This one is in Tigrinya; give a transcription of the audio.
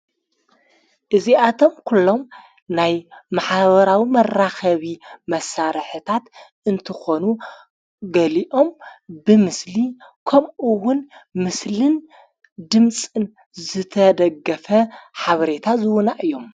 እዚኣቶም ኲሎም ናይ መሓበራዊ መራኸቢ መሣረሕታት እንትኾ፤ ገሊኦም ብምስሊ ከምኡውን ምስልን ድምጽን ዘተደገፈ ሓብሬታ ዝዉና እዮም።